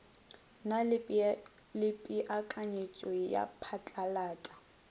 na le peakanyeto ya phatlalata